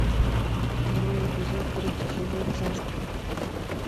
второй эпизод третий сезон царство